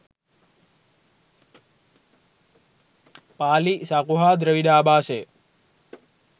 පාලි, සකු හා ද්‍රවිඩ ආභාෂය